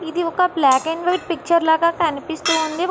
ఇది ఒక black and white picture లాగా కనిపిస్తూ ఉంది.